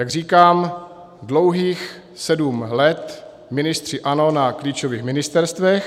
Jak říkám, dlouhých sedm let ministři ANO na klíčových ministerstvech.